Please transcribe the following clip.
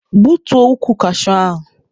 Gbutuo ukwu kashuu ahụ!